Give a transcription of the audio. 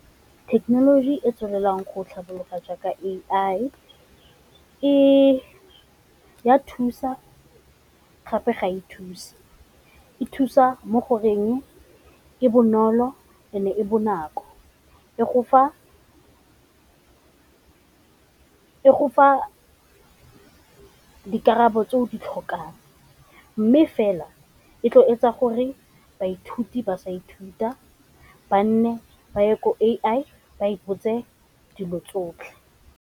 Thekenoloji e e tswelelang go tlhabolola jaaka A_I e a thusa gape ga e thuse, e thusa mo goreng e bonolo and-e e bonako, e go fa dikarabo tse o di tlhokang. Mme fela e tlo etsa gore baithuti ba sa ithuta ba nne ba ye ko A_I ba e botse dilo tsotlhe.